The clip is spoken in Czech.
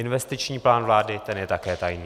Investiční plán vlády, ten je také tajný.